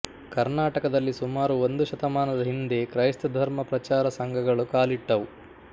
ಕರ್ನಾಟಕದಲ್ಲಿ ಸುಮಾರು ಒಂದು ಶತಮಾನದ ಹಿಂದೆ ಕ್ರೈಸ್ತಧರ್ಮ ಪ್ರಚಾರ ಸಂಘಗಳು ಕಾಲಿಟ್ಟವು